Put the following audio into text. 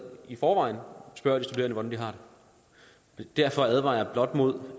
i forvejen spørger de studerende hvordan de har det derfor advarer jeg blot mod